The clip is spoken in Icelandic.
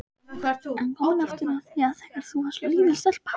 En komum aftur að því þegar þú varst lítil stelpa.